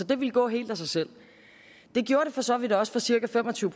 det gå helt af sig selv det gjorde det for så vidt også for cirka fem og tyve